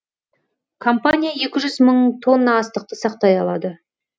компания екі жүз мың тонна астықты сақтай алады